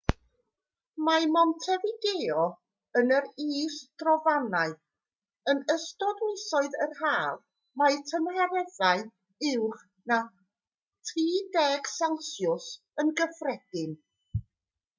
mae montevideo yn yr is-drofannau; yn ystod misoedd yr haf mae tymereddau uwch na +30°c yn gyffredin